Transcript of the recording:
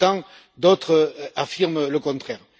Pour autant, d'autres affirment le contraire.